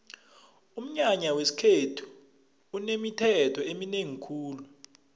umnyanya wesikhethu unemithetho eminengi khulu